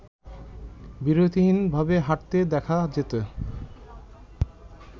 বিরতিহীনভাবে হাঁটতে দেখা যেত